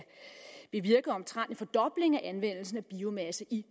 bevirke omtrent en fordobling af anvendelsen af biomasse i